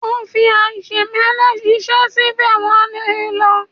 ó fí aṣemẹ́lẹ̀ ṣiṣẹ́ síbẹ̀ wọ́n lé e lọ.